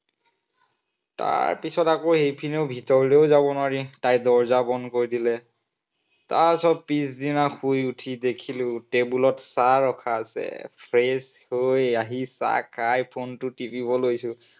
তাৰপিছত আকৌ এইপিনেও ভিতৰলৈ যাবও নোৱাৰি, তাই দৰজা বন্ধ কৰি দিলে। তাৰপিছত পিছদিনা শুই উঠি দেখিলো table ত চাহ ৰখা আছে। fresh হৈ আহি চাহ খাই phone টো টিপিব লৈছো।